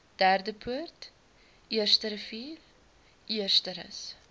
derdepoort eersterivier eersterus